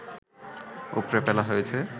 উপড়ে ফেলা হয়েছে